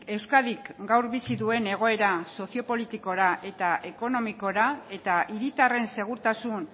euskadik gaur bizi duen egoera sozio politikora eta ekonomikora eta hiritarren segurtasun